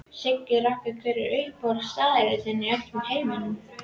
Siggi Raggi Hver er uppáhaldsstaðurinn þinn í öllum heiminum?